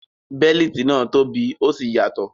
Bẹ́líìtì náà tóbi ó sì yàtọ̀.